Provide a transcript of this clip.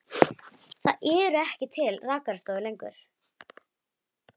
Það eru ekki til rakarastofur lengur.